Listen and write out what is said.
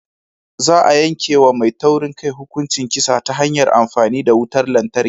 Za a yanke wa mai taurin kai hukuncin kisa ta hanyar amfani da wutar lantarki.